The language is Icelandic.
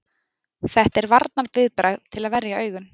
Þetta er varnarviðbragð til að verja augun.